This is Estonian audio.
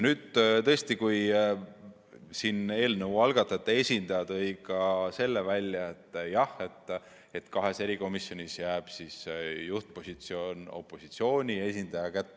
Eelnõu algatajate esindaja tõi ka selle välja, et kahes erikomisjonis jääb nüüd juhtpositsioon opositsiooni esindaja kätte.